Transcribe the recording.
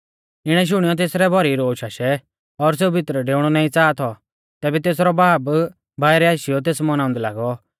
इणै शुणियौ तेसरै भौरी रोश आशै और सेऊ भितरै डेउणौ नाईं च़ाहा थौ तैबै तेसरौ बाब बाइरै आशीयौ तेस मौनाउंदै लागौ